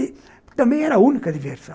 E também era a única diversão.